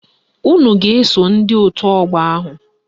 Unu ga-eso ndị otu ọgbọ ahụ.